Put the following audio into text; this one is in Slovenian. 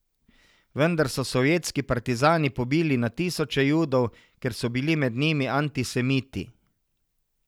Vendar so sovjetski partizani pobili na tisoče Judov, ker so bili med njimi antisemiti.